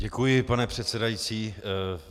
Děkuji, pane předsedající.